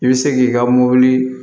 I bɛ se k'i ka mobili